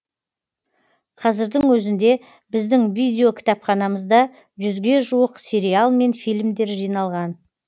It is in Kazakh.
қазірдің өзінде біздің видеокітапханамызда жүзге жуық сериал мен фильмдер жиналған